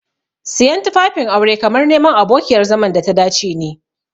Siyan tufafin aure kamar neman abokiyar zaman data dace ne.